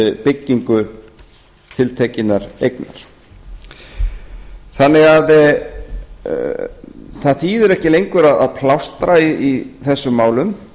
byggingu tiltekinnar eignar það þýðir því ekki lengur að plástra í þessum málum